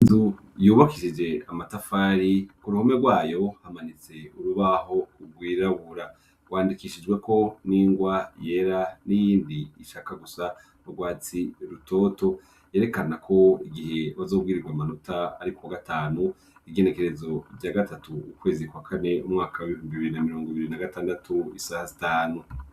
Inzu yubakishije amatafari ku ruhome rwayo hamanitse urubaho rwirabura, rwandikishijweko n'ingwa yera n'iyindi ishaka gusa n'urwatsi rutoto yerekana ko igihe bazobwirirwa amanota ariko gatanu igenekerezo rya gatatu ukwezi kwa kane umwaka w'ibihumbi bibiri na mirongo ibiri na gatandatu isaha zitanu.